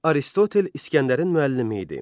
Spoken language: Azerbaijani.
Aristotel İsgəndərin müəllimi idi.